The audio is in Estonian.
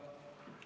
See oli detsembris.